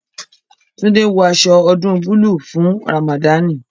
Tunde ń wọ aṣọ ọdún búlúù fún Ramadani